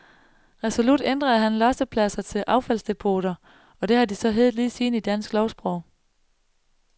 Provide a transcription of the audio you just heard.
Resolut ændrede han lossepladser til affaldsdepoter, og det har de så i heddet lige siden i dansk lovsprog.